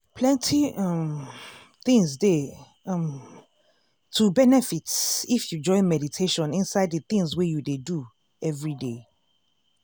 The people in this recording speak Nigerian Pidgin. plenty um things dey um to benefit if you join meditation inside de tins wey you dey do everyday.